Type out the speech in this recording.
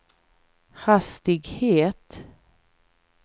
hastighet